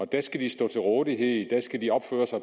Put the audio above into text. der skal de stå til rådighed der skal de opføre sig